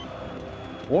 og